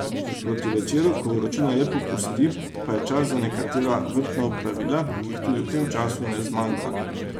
Proti večeru, ko vročina le popusti, pa je čas za nekatera vrtna opravila, ki jih tudi v tem času ne zmanjka.